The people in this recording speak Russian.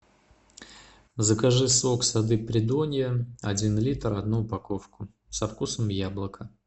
закажи сок сады придонья один литр одну упаковку со вкусом яблока